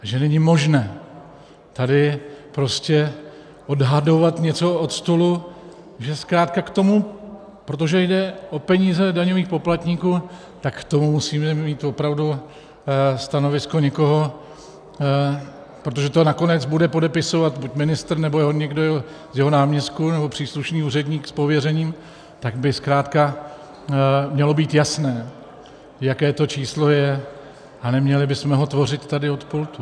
Že není možné tady prostě odhadovat něco od stolu, že zkrátka k tomu, protože jde o peníze daňových poplatníků, tak k tomu musíme mít opravdu stanovisko někoho, protože to nakonec bude podepisovat buď ministr, nebo někdo z jeho náměstků, nebo příslušný úředník s pověřením, tak by zkrátka mělo být jasné, jaké to číslo je, a neměli bychom ho tvořit tady od pultu.